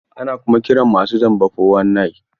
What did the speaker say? Ana kuma kiran masu zamba fo-wan-nayin (419).